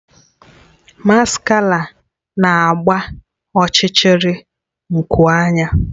Maskara na-agba ọchịchịrị nku anya